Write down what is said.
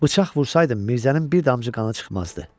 Bıçaq vursaydın Mirzənin bir damcı qanı çıxmazdı.